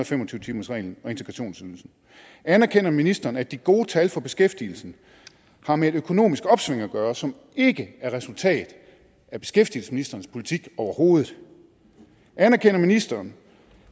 fem og tyve timersreglen og integrationsydelsen anerkender ministeren at de gode tal for beskæftigelsen har med et økonomisk opsving at gøre som ikke er resultat af beskæftigelsesministerens politik overhovedet anerkender ministeren